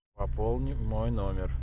пополни мой номер